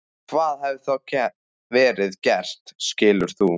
Hvað hefði þá verið gert skilur þú?